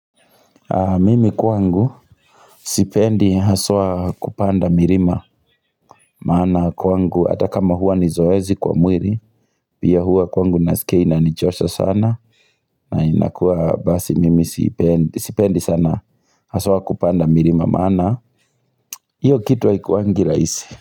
Mimi kwangu sipendi haswa kupanda milima maana kwangu ata kama huwa ni zoezi kwa mwili pia hua kwangu nasikia inanichosha sana na inakuwa basi mimi sipendi sana haswa kupanda milima maana iyo kitu haikuwangi rahisi.